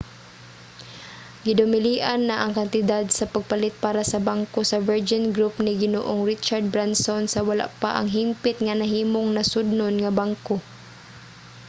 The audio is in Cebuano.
gidumilian na ang kantidad sa pagpalit para sa bangko sa virgin group ni ginoong richard branson sa wala pa hingpit nga nahimong nasudnon ang bangko